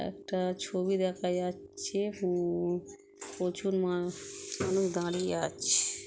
একটা ছবি দেখা যাচ্ছে-এ হু-ম-ম প্রচুর মানুষ এখনও দাঁড়িয়ে আছে-এ।